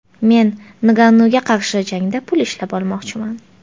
Men Ngannuga qarshi jangda pul ishlab olmoqchiman.